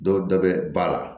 Dɔw dɔ bɛ ba la